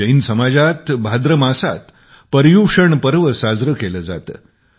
जैन समाजात भाद्रमासात पर्युषण पर्व साजारा केला जातो